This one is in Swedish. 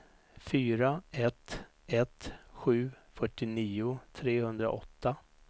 fyra ett ett sju fyrtionio trehundraåtta